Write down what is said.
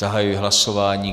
Zahajuji hlasování.